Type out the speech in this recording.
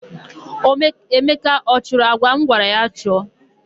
Emeka ọ chụrụ àjà m gwara ya chụọ?